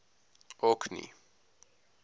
orkney